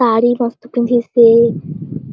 साड़ी बहुत पिँधीस हे।